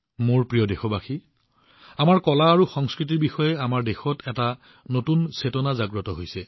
মোৰ মৰমৰ দেশবাসীসকল আমাৰ দেশত আমাৰ কলা আৰু সংস্কৃতিৰ বিষয়ে এক নতুন সজাগতা আৰম্ভ হৈছে এক নতুন চেতনা জাগ্ৰত হৈছে